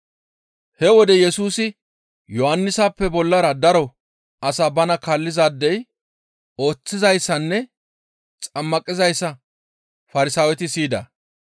He wode Yesusi Yohannisappe bollara daro asa bana kaallizaade ooththizayssanne xammaqizayssa Farsaaweti siyida.